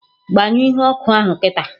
Gbanyụọ ihe ọkụ ahụ kịta!